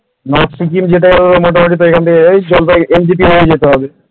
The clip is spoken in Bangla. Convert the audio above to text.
north সিকিম মোটামুটি সেখান থেকে হয়ে NGP হয়ে যেতে হবে ।